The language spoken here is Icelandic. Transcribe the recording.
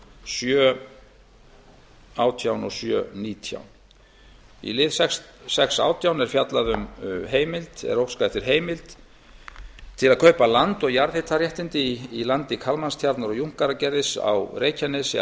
sjö átján og sjö nítján í lið sex átján er óskað eftir heimild til að kaupa land og jarðhitaréttindi í landi kalmannstjarnar og junkaragerðis á reykjanesi